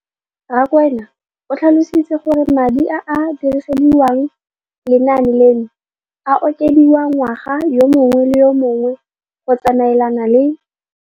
Rakwena o tlhalositse gore madi a a dirisediwang lenaane leno a okediwa ngwaga yo mongwe le yo mongwe go tsamaelana le